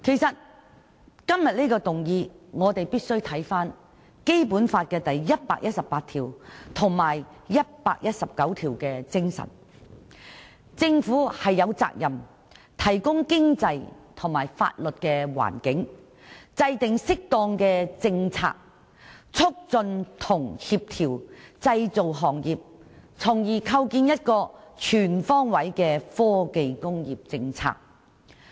就這項議案，我們必須看看《基本法》第一百一十八條及第一百一十九條的內容，即政府有責任"提供經濟和法律環境"，"制定適當政策，促進和協調製造業"，從而訂定一個全方位的科技工業政策。